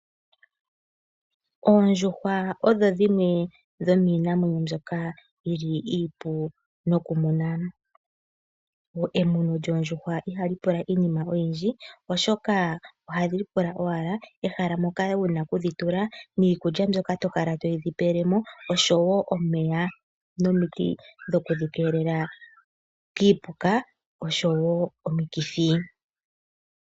Oondjuhwa odho dhimwe dho miinamwenyo mbyoka yili iipu nokumuna. Emuno lyoondjuhwa ihali pula iinima oyindji, oshoka ohadhi pula owala ehala moka wuna okudhitula, niikulya mbyoka tokala todhi pelemo oshowo, omeya nomiti dho kudhi keelela kiipuka oshowo omikithi.